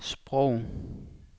sprog